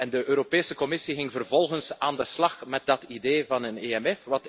De Europese Commissie ging vervolgens aan de slag met dat idee van een EMF.